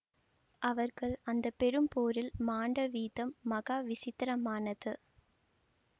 அவர்கள் அந்த பெரும் போரில் மாண்ட வீதம் மகா விசித்திரமானது